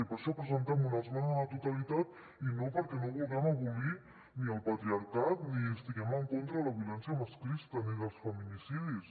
i per això presentem una esmena a la totalitat i no perquè no vulguem abolir ni el patriarcat ni estiguem en contra de la violència masclista ni dels feminicidis